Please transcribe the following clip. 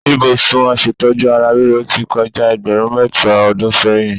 Ibùsùn aṣètójú ara ríro ti kọjá ẹgbẹ̀rún mẹ́ta ọdún sẹ́yìn.